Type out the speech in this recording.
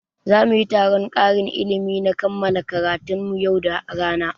Za muyi taron ƙarin ilimi na kammala karatun mu yau da rana